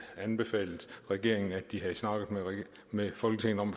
anbefalet regeringen at de havde snakket med folketinget om